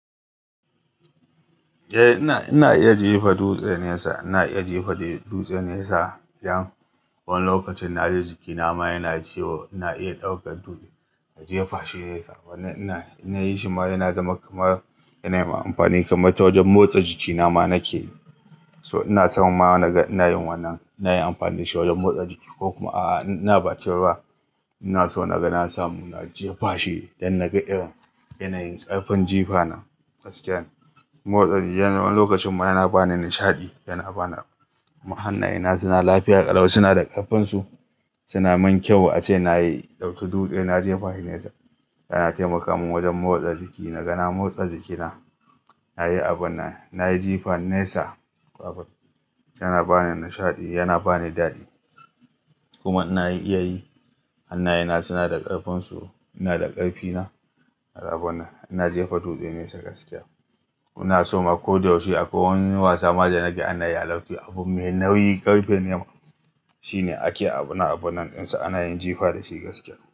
Eh ina, ina iya jefa dutse nesa. Ina iya jefa dutse nesa idan wani lokacin na ji jikina ma yana ciwo ina iya ɗaukar dutse na jefa shi nesa. Wannan, inna yi shi ma yana zama kamar yana mun amfani kamar motsa jikina ma nake. Saboda haka ina so ma naga ina yin wannan, ina yin amfani da shi wajen motsa jiki ko kuma a'a idan ina bakin ruwa. Ina so na ga na samu na jefa shi domin naga irin ƙarfin jifa ta gaskiya. Motsa jiki wani lokaci ma yana ba ni nishaɗi, yana bani. Kuma Hannuwa na suna lafiya ƙalau suna da ƙarfinsu, suna yi min kyau, ace na ɗauki dutse na jefa shi nesa. Yana taimaka min wajen motsa jiki. Na ga na motsa jiki na, na yi abun nan, na yi jifa nesa. Abun yana ba ni nishaɗi, yana ba ni daɗi. Kuma ina iya yi. Hannuwana suna da ƙarfinsu. Ina da ƙarfina a rabon nan. Ina jefa dutse nesa gaskiya. Ina so ma ko da wuce akwai wani wasa ma danaga anayi a lafiya. Abun mai nauyi ƙarfe ne, shine ake abun nan, abun nan dinsa ana yin jifa da shi gaskiya.